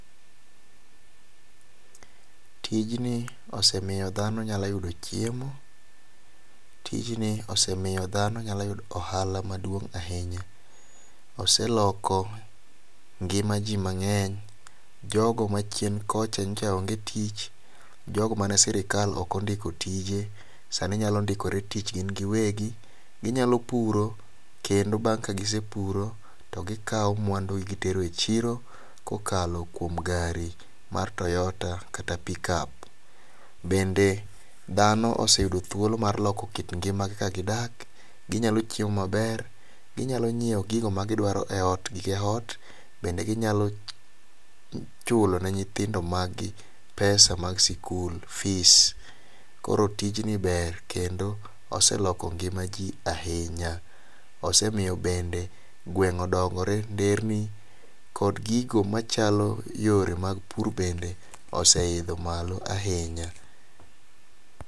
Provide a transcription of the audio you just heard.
Tijni osemiyo dhano nyalo yudo chiemo, tijni osemiyo dhano nyalo yudo ohala maduong' ahinya ,oseloko ngima jii mang'eny jogo machien kocha nyicha onge tich, jogo mane sirikal ok ondiko tije sani nyalo ndikore tich gin giwegi. Ginyalo puro kendo bang' ka gisepuro to gikawo mwandu gitero e chiro kokalo kuom gari mar toyota kata pickup . Bende dhano oseyudo thuolo mar loko kik ngimagi kaka gidak ginyalo chiemo maber ginyalo nyiewo gigo ma gi nyiewo e ot gige ot, bende ginyalo chulo ne nyithindo mag gi pesa ma sikul fee koro tijni ber kendo oseloko ngima jii ahinya. Osemiyo bende gweng' odongore nderni , kendo gigo machalo yore mag pur bende oseidho malo ahinya.